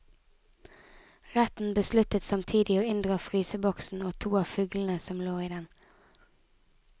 Retten besluttet samtidig å inndra fryseboksen og to av fuglene som lå i den.